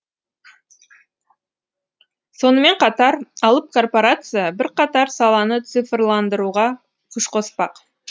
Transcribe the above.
сонымен қатар алып корпорация бірқатар саланы цифрландыруға күш қоспақ